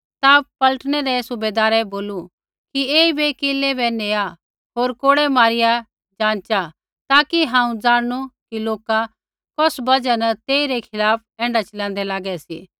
ता पलटनै रै सूबैदारै बोलू कि ऐईबै किलै बै नेआ होर कोड़ै मारिया जाँचा ताकि हांऊँ ज़ाणनू कि लोका कौस बजहा न तेइरै खिलाफ़ ऐण्ढा चिलाँदै लागै सी